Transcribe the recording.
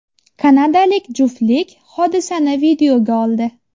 Kanadalik juftlik hodisani videoga oldi.